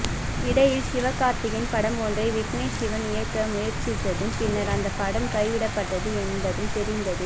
இடையில் சிவகார்த்திகேயன் படம் ஒன்றை விக்னேஷ் சிவன் இயக்க முயற்சித்ததும் பின்னர் அந்தப் படம் கைவிடப்பட்டது என்பதும்தெரிந்ததே